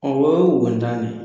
Ɔwɔ o ye naani